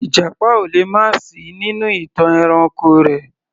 Ìjàpá ò lè má sì í nínú ìtàn ẹranko rẹ̀